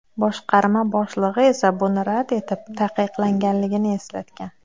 Boshqarma boshlig‘i esa buni rad etib, taqiqlanganligini eslatgan.